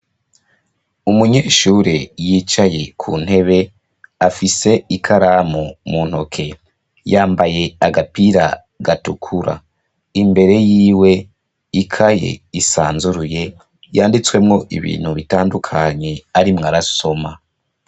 Umunyeshure yicaye ku ntebe afise ikaramu mu ntoke, yambaye agapira gatukura. Imbere y'iwe ikaye isanzuruye yanditswemo ibintu bitandukanye arimwo arasoma.